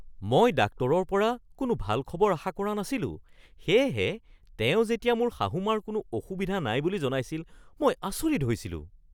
মই ডাক্তৰৰ পৰা কোনো ভাল খবৰ আশা কৰা নাছিলো সেয়েহে তেওঁ যেতিয়া মোৰ শাহু মাৰ কোনো অসুবিধা নাই বুলি জনাইছিল মই আচৰিত হৈছিলোঁ।